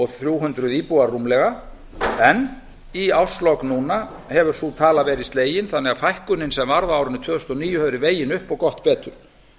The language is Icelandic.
þrjú hundruð íbúar rúmlega en í árslok núna hefur sú tala verið slegin þannig að fækkunin sem varð á árinu tvö þúsund og níu hefur verið vegin upp og gott betur